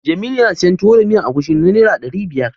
Jamilu yana siyan Tuwo da miyar agushi na Naira ɗari biyar.